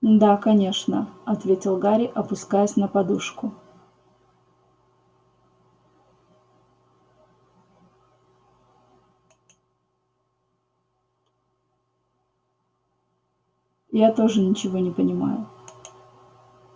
да конечно ответил гарри опускаясь на подушку я тоже ничего не понимаю